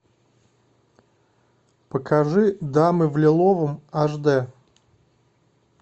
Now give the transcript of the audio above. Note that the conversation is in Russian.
покажи дамы в лиловом аш дэ